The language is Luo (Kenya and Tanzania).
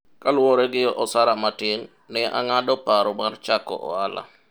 kaluwore gi osara matin, ne ang'ado paro mar chako ohala